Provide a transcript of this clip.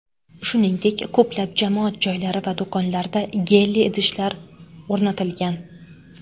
Shuningdek, ko‘plab jamoat joylari va do‘konlarda gelli idishlar o‘rnatilgan.